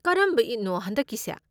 ꯀꯔꯝꯕ ꯏꯗꯅꯣ ꯍꯟꯗꯛꯀꯤꯁꯦ?